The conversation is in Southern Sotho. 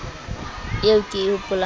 eo ke e hopolang ha